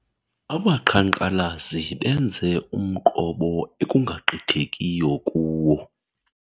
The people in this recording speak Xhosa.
Abaqhankqalazi benze umqobo ekungagqithekiyo kuwo.